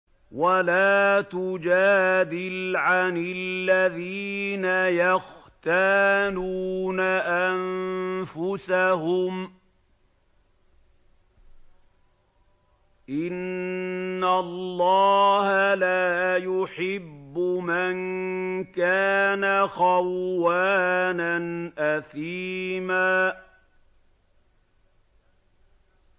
وَلَا تُجَادِلْ عَنِ الَّذِينَ يَخْتَانُونَ أَنفُسَهُمْ ۚ إِنَّ اللَّهَ لَا يُحِبُّ مَن كَانَ خَوَّانًا أَثِيمًا